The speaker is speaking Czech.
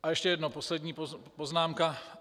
A ještě jedna, poslední poznámka.